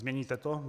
Změníte to?